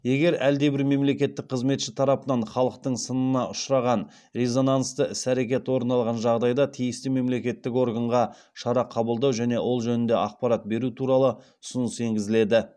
егер әлдебір мемлекеттік қызметші тарапынан халықтың сынына ұшыраған резонансты іс әрекет орын алған жағдайда тиісті мемлекеттік органға шара қабылдау және ол жөнінде ақпарат беру туралы ұсыныс енгізіледі